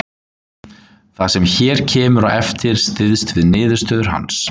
Það sem hér kemur á eftir styðst við niðurstöður hans.